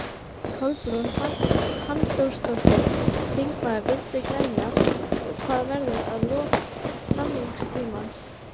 Kolbrún Halldórsdóttir, þingmaður Vinstri-grænna: Og hvað verður við lok samningstímans?